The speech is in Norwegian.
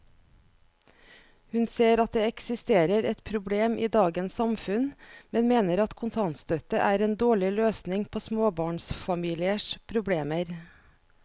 Hun ser at det eksisterer et problem i dagens samfunn, men mener at kontantstøtte er en dårlig løsning på småbarnsfamiliers problemer.